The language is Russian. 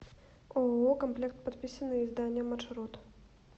ооо комплект подписные издания маршрут